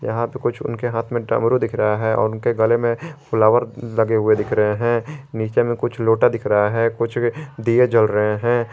यहां पे कुछ उनके हाथ में डमरू दिख रहा है और उनके गले में फ्लॉवर लगे हुए दिख रहे हैं नीचे में कुछ लोटा दिख रहा है कुछ दिये जल रहे हैं।